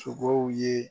Sogow ye